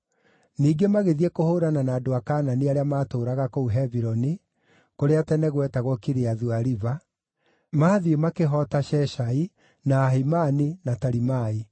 Ningĩ magĩthiĩ kũhũũrana na andũ a Kaanani arĩa maatũũraga kũu Hebironi (kũrĩa tene gwetagwo Kiriathu-Ariba) maathiĩ makĩhoota Sheshai, na Ahimani, na Talimai.